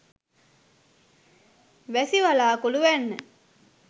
වැසි වළාකුළු වැන්න.